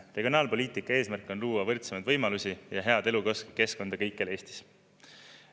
" Regionaalpoliitika eesmärk on luua võrdsemaid võimalusi ja head elukeskkonda kõikjal Eestis.